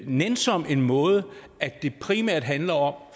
nænsom en måde at det primært handler om